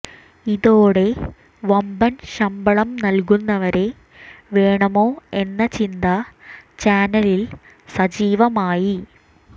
ഇതോടെ വമ്പൻ ശമ്പളം നൽകുന്നവരെ വേണമോ എന്ന ചിന്ത ചാനലിൽ സജീവമായി